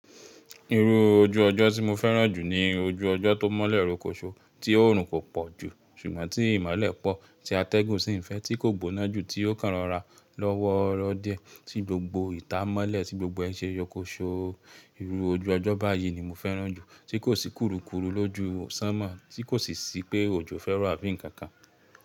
Irú ojú ọjọ́ tí mo fẹ́ràn jù ni ojú ọjọ́ tó mọ́lẹ̀ ròkòṣo tí oòrùn kò pọ̀ jù, ṣùgbọ́n tí ìmọ́lẹ̀ pọ̀, tí atẹ́gùn sì ń fẹ́ tí kò gbóná jù tí yóò kàn rọra lọ́wọ́ro diẹ, tí gbogbo ìta mọ́lẹ̀ tí gbogbo ẹ n ṣe yọkóṣó. Irú ojú ọjọ́ báyìí ni mo fẹ́ràn jù tí kò sì kurukuru lójú ṣánmọ̀, tí kò sì sí pé òjò fẹ́ro àbí ǹkan kan.